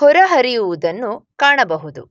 ಹೊರಹರಿಯುವುದನ್ನು ಕಾಣಬಹುದು.